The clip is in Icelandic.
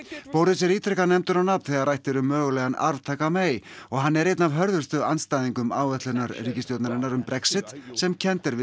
boris er ítrekað nefndur á nafn þegar rætt er um mögulegan arftaka May og hann er einn af hörðustu andstæðingum áætlunar ríkisstjórnarinnar um Brexit sem kennd er við